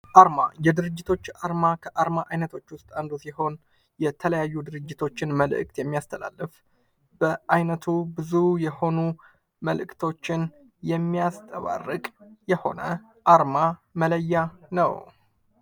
አርማ የድርጅቶች ከአርማ አይነቶች ውስጥ አንዱ ሲሆን የተለያዩ ድርጅቶችን መልዕክት የሚያስተላልፍ በአይነቱ ብዙ የሆኑ መልእክቶችን የሚያንጸባርቅ የሆነ አርማ መለያ ነው::